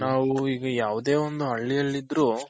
ನಾವು ಈಗ ಯಾವ್ದೇ ಒಂದು ಹಳ್ಳಿಯಲ್ಲಿ ಇದ್ರೂ